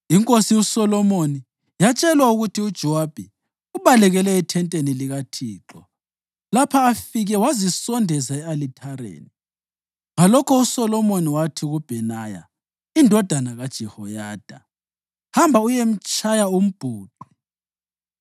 Inkosi uSolomoni yatshelwa ukuthi uJowabi ubalekele ethenteni likaThixo lapha afike wazisondeza e-alithareni. Ngalokho uSolomoni wathi kuBhenaya indodana kaJehoyada, “Hamba uyemtshaya umbhuqe.”